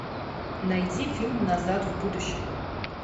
найди фильм назад в будущее